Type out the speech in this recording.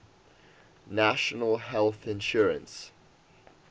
national health insurance